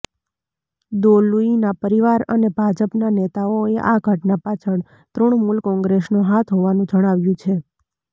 દોલુઈના પરિવાર અને ભાજપના નેતાઓએ આ ઘટના પાછળ તૃણમૂલ કોંગ્રેસનો હાથ હોવાનું જણાવ્યું છે